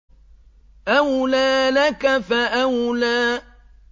أَوْلَىٰ لَكَ فَأَوْلَىٰ